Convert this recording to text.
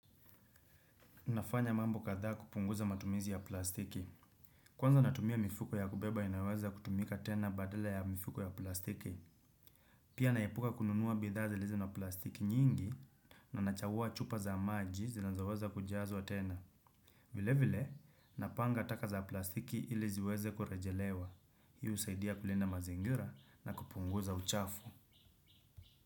Nafanya mambo kadhaa kupunguza matumizi ya plastiki. Kwanza natumia mifuko ya kubeba inayoweza kutumika tena badala ya mifuko ya plastiki. Pia naepuka kununuwa bidhaa zilizo na plastiki nyingi. Na nachagua chupa za maji zinazoweza kujazwaa tena. Vile vile napanga taka za plastiki ili ziweze kurejelewa. Hii husaidia kulinda mazingira na kupunguza uchafu.